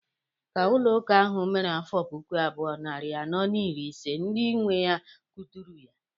Ka ụlọ ụka ahụ mere afọ puku abụọ, narị anọ na iri ise, ndị nwe ya kuturu ya.